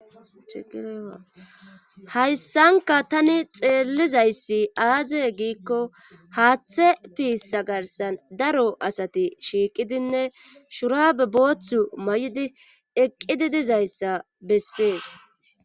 hayssanka tani xeellizayssi aaze giikko haaththe piissa garsan daro asati shiiqidinne shurabe booththu ma7idi eqqidi dizayssa bessees